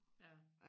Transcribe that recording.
Ja